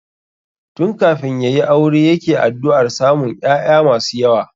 Tun kafin ya yi aure yake addu'ar samun ƴaƴa masu yawa